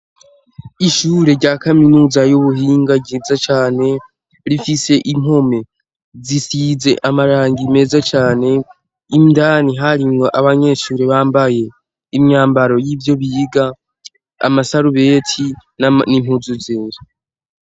Ishure rya kaminuza y'ubuhinga ryiza cane rifise impome zisize amarangi meza cane indani hari ngo abanyeshure bambaye imyambaro y'ivyo biga amasarubeti n'impuzu zera.